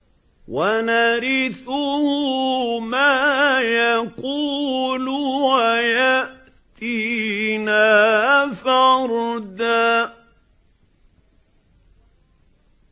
وَنَرِثُهُ مَا يَقُولُ وَيَأْتِينَا فَرْدًا